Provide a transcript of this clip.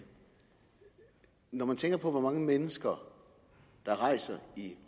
når man tænker på hvor mange mennesker der rejser i